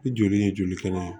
Ni joli in ye joli kɛnɛ ye